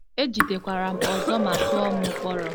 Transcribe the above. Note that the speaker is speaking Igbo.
E jidekwara m ọzọ ma tụọ m mkpọrọ.